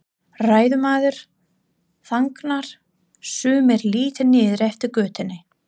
Ræðumaður þagnar, sumir líta niður eftir götunni.